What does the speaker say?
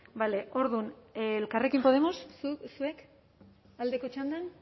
vale orduan elkarrekin podemos zuek aldeko txandan